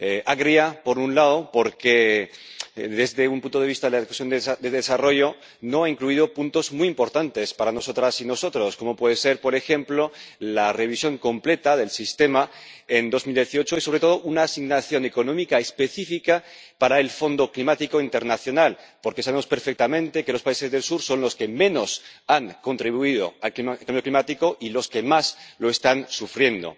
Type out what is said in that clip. Agria, por un lado, porque desde un punto de vista de la Comisión de Desarrollo no ha incluido puntos muy importantes para nosotras y nosotros, como pueden ser, por ejemplo, la revisión completa del sistema en 2018 y, sobre todo, una asignación económica específica para el Fondo Climático Internacional, porque sabemos perfectamente que los países del sur son los que menos han contribuido al cambio climático y los que más lo están sufriendo.